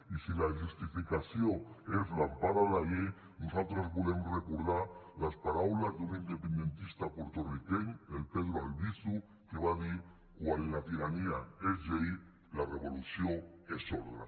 i si la justificació és l’empara en la llei nosaltres volem recordar les paraules d’un independentista porto riqueny el pedro albizu que va dir quan la tirania és llei la revolució és ordre